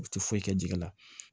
U tɛ foyi kɛ jɛgɛ la